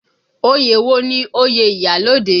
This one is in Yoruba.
Oyè wo ni oyè iyalode?